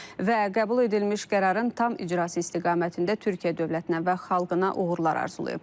Və qəbul edilmiş qərarın tam icrası istiqamətində Türkiyə dövlətinə və xalqına uğurlar arzulayıb.